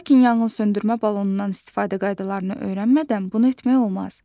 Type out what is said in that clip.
Lakin yanğınsöndürmə balonundan istifadə qaydalarını öyrənmədən bunu etmək olmaz.